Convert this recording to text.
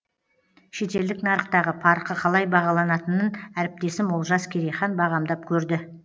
шетелдік нарықтағы парқы қалай бағаланатынын әріптесім олжас керейхан бағамдап көрді